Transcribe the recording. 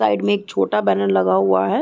Side में एक छोटा बैनर लगा हुआ है।